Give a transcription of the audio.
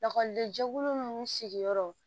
Lakɔlidenw sigiyɔrɔ